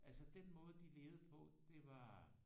Altså den måde de levede på det var